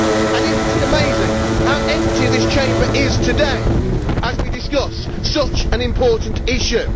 And is it not amazing how empty this Chamber is today as we discuss such an important issue?